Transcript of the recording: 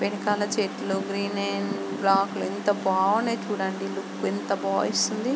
వెనకాల చెట్లు ఎంత బాగున్నాయో చుడండి. ఎంత